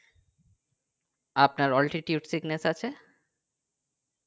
আপনার altitude sickness আছে